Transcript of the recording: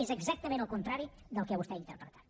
és exactament el contrari del que vostè ha interpretat